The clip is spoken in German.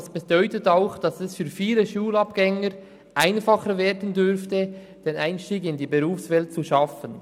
Das bedeutet auch, dass es für viele Schulabgänger einfacher werden dürfte, den Einstieg in die Berufswelt zu schaffen.